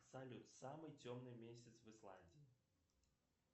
салют самый темный месяц в исландии